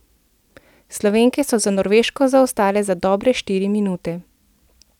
Slovenke so za Norveško zaostale za dobre štiri minute.